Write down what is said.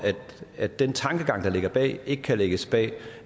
at den tankegang der ligger bag ikke kan lægges bag